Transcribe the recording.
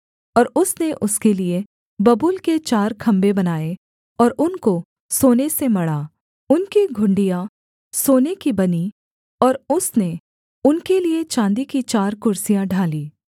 और उसने उसके लिये बबूल के चार खम्भे बनाए और उनको सोने से मढ़ा उनकी घुंडियाँ सोने की बनीं और उसने उनके लिये चाँदी की चार कुर्सियाँ ढालीं